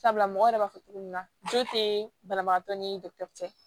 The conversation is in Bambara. Sabula mɔgɔ yɛrɛ b'a fɔ cogo min na jo te banabagatɔ ni cɛ